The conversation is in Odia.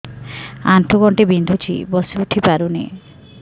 ଆଣ୍ଠୁ ଗଣ୍ଠି ବିନ୍ଧୁଛି ବସିଉଠି ପାରୁନି